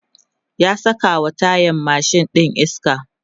ya sakawa tayan mashin ɗin iska